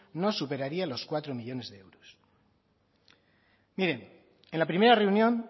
no superaría los cuatro millónes de euros en la primera reunión